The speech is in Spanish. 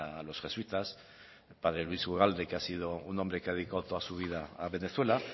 con los jesuitas el padre luis ugalde que ha sido un hombre que ha dedicado toda su vida a venezuela